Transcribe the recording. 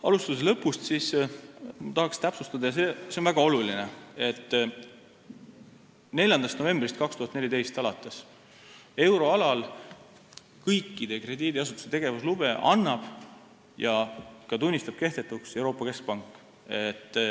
Alustades lõpust, ma tahaksin täpsustada – ja see on väga oluline –, et 4. novembrist 2014 alates euroalal kõikide krediidiasutuste tegevuslube annab ja tunnistab ka kehtetuks Euroopa Keskpank.